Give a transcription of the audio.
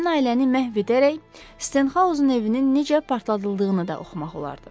bütün ailəni məhv edərək Stenxaozun evinin necə partladıldığını da oxumaq olardı.